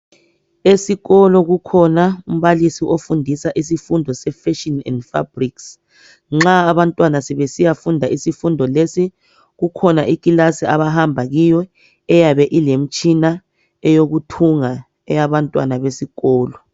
Esikolo kukhona umbalisi ofundisa isifundo se Fashion and Fabrics . Nxa abantwana sebesiya funda isifundo lesi , kukhona ikilasi abahamba kuyo eyabe ilemitshina eyokuthunga eyabantwana besikolo.